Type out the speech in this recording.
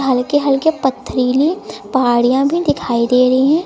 हल्के हल्के पथरीली पहाड़ियां भी दिखाई दे रही हैं।